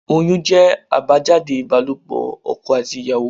Oyún jẹ́ àbájáde ibalopo ọkọ àti ìyàwó.